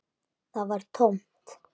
Það var tómt.